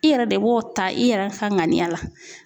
I yɛrɛ de b'o ta i yɛrɛ ka ŋaniya la.